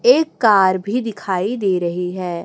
एक कार भी दिखाई दे रही है।